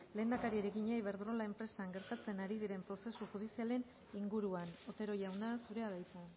lehendakariari egina iberdrola enpresan gertatzen ari diren prozesu judizialen inguruan otero jauna zurea da hitza